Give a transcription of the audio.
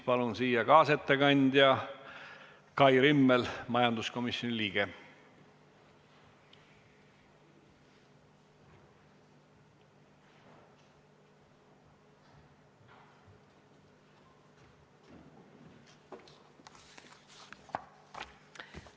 Palun siia kaasettekandja Kai Rimmeli, majanduskomisjoni liikme!